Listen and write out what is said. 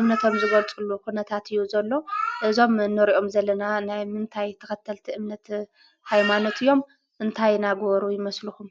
እምነቶም ዝገልፅሉ ኩነታት እዩ ዘሎ፡፡ እዞም ንሪኦም ዘለና ናይ ምንታይ ተኸተልቲ እምነት ሃይማኖት እዮም? እንታይ እናገበሩ ይመስልኹም?